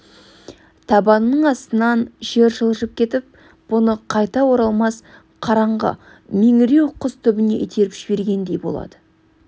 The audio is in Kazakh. табанының астынан жер жылжып кетіп бұны қайта оралмас қараңғы меңіреу құз түбіне итеріп жібергендей болады